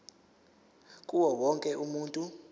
kuwo wonke umuntu